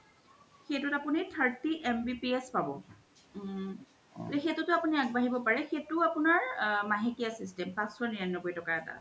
সেইতোত আপুনি thirty MBPS পাব um সেইতোতও আপুনি আগবাঢ়িব পাৰে সেইতো আপুনাৰ মাহেকিয়া system পাঁচশ নিৰান্নবৈ তকাৰ এটা আছে